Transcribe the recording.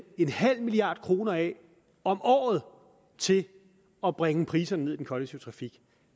en halv milliard kroner af om året til at bringe priserne ned i den kollektive trafik